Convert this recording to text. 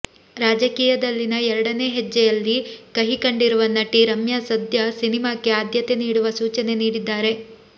ರಾಜಕೀಯದಲ್ಲಿನ ಎರಡನೇ ಹೆಜ್ಜೆಯಲ್ಲಿ ಕಹಿ ಕಂಡಿರುವ ನಟಿ ರಮ್ಯಾ ಸದ್ಯ ಸಿನಿಮಾಕ್ಕೆ ಆದ್ಯತೆ ನೀಡುವ ಸೂಚನೆ ನೀಡಿದ್ದಾರೆ